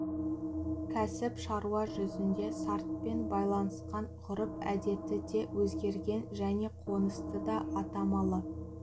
кәсіп шаруа жүзінде сартпен байланысқан ғұрып-әдеті де өзгерген және қонысы да аттамалы